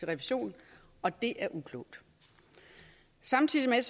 revision og det er uklogt samtidig